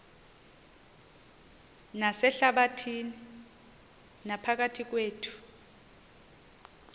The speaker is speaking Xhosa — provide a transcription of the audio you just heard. nasehlabathini naphakathi kwethu